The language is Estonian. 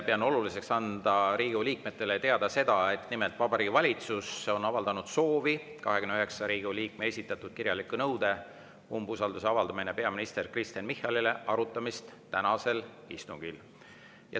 Pean oluliseks anda Riigikogu liikmetele teada seda, et Vabariigi Valitsus on avaldanud soovi arutada 29 Riigikogu liikme esitatud kirjalikku nõuet umbusalduse avaldamiseks peaminister Kristen Michalile tänasel istungil.